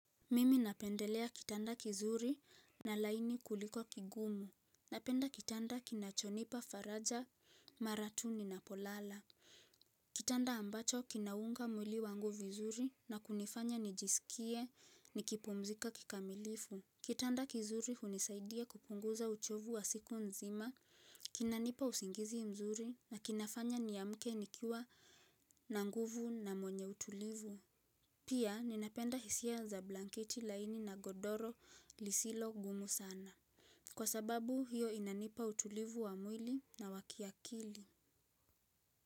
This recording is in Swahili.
Mimi napendelea kitanda kizuri na laini kuliko kigumu. Napenda kitanda kinachonipa faraja mara tu ninapolala. Kitanda ambacho kinaunga mwili wangu vizuri na kunifanya nijisikie nikipumzika kikamilifu. Kitanda kizuri hunisaidia kupunguza uchovu wa siku nzima. Kinanipa usingizi mzuri na kinafanya niamke nikiwa na nguvu na mwenye utulivu. Pia ninapenda hisia za blankiti laini na godoro lisilo gumu sana. Kwa sababu hiyo inanipa utulivu wa mwili na wa kiakili.